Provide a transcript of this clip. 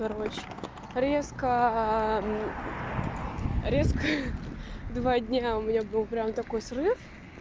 короче резко резко два дня у меня был прям такой срыв